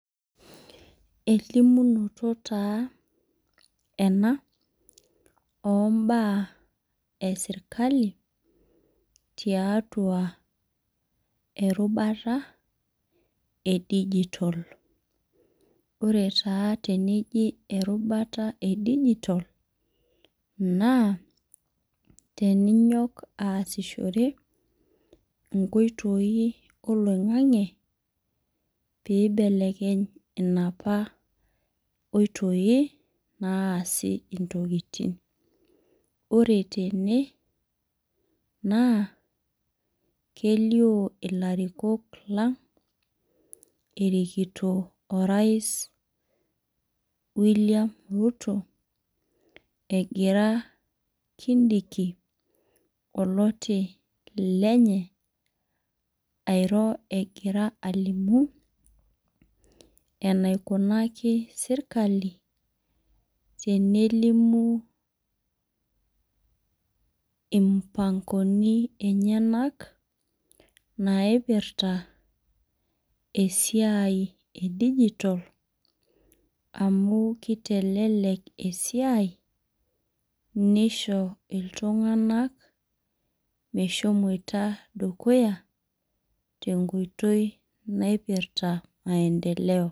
Elimunoto taa ena ombaa esirkali, tiatua erubata edijitol. Ore taa teneji erubata edijitol, naa teninyok aasishore inkoitoi oloing'ang'e pibelekeny inapa oitoi, naasi intokiting. Ore tene, naa, kelio ilarikok lang, erikito orais William Ruto, egira Kindiki, oloti lenye, airo egira alimu enaikunaki sirkali, tenelimu impangoni enyanak, naipirta esiai edijitol, amu kitelelek esiai, nisho iltung'anak meshomoita dukuya, tenkoitoi naipirta maendeleo.